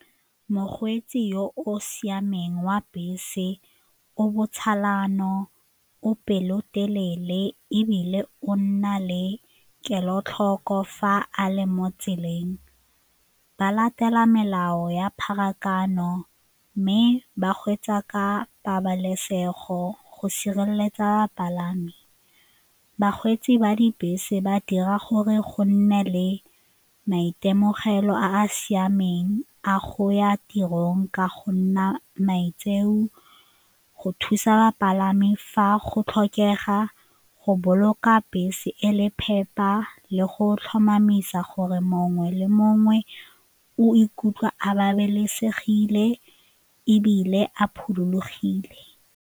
Mokgweetsi yo o siameng wa bese o o pelotelele ebile o nna le kelotlhoko fa a le mo tseleng. Ba latela melao ya pharakano mme ba kgweetsa ka pabalesego go sireletsa bapalami. Bakgweetsi ba dibese ba dira gore go nne le maitemogelo a a siameng a go ya tirong ka go nna maitseo, go thusa bapalami fa go tlhokega, go boloka fa bese e le phepa le go tlhomamisa gore mongwe le mongwe o ikutlwa a babalesegile ebile a .